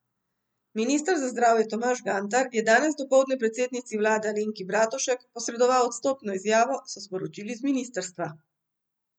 Minister za zdravje Tomaž Gantar je danes dopoldne predsednici vlade Alenki Bratušek posredoval odstopno izjavo, so sporočili z ministrstva.